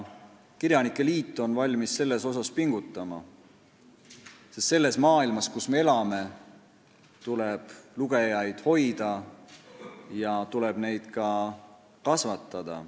Kirjanike liit on valmis selle nimel pingutama, sest selles maailmas, kus me elame, tuleb lugejaid hoida ja neid ka kasvatada.